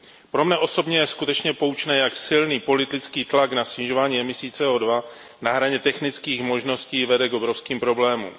Pro mne osobně je skutečně poučné, jak silný politický tlak na snižování emisí CO2, který je na hraně technických možností, vede k obrovským problémům.